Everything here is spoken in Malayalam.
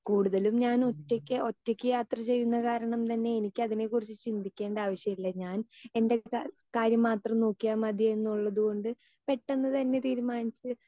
സ്പീക്കർ 2 കൂടുതലും ഞാൻ ഒറ്റയ്ക്ക് ഒറ്റയ്ക്ക് യാത്ര ചെയ്യുന്ന കാരണം തന്നെ എനിക്ക് അതിനെ കുറിച്ച് ചിന്തിക്കേണ്ട ആവശ്യമില്ല ഞാൻ എൻ്റെ കാര്യം മാത്രം നോക്കിയാൽ മതിയെന്നുള്ളത്കൊണ്ട് പെട്ടെന്ന്തന്നെ തീരുമാനിച്ചു